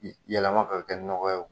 yɛlɛma ka kɛ nɔgɔ ye